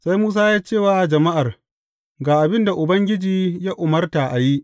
Sai Musa ya ce wa jama’ar, Ga abin da Ubangiji ya umarta a yi.